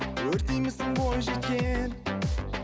өртеймісің бойжеткен